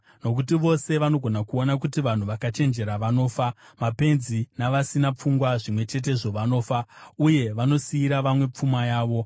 Nokuti vose vanogona kuona kuti vanhu vakachenjera vanofa; mapenzi navasina pfungwa zvimwe chetezvo vanofa, uye vanosiyira vamwe pfuma yavo.